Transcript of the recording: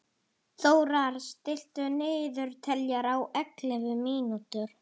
Þórar, stilltu niðurteljara á ellefu mínútur.